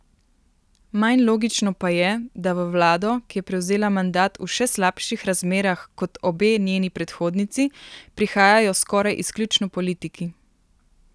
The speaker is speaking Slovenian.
Manj logično pa je, da v vlado, ki je prevzela mandat v še slabših razmerah kot obe njeni predhodnici, prihajajo skoraj izključno politiki.